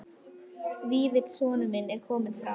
Vífill sonur minn er kominn frá